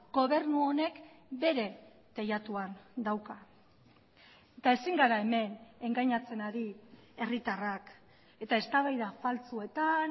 gobernu honek bere teilatuan dauka eta ezin gara hemen engainatzen ari herritarrak eta eztabaida faltsuetan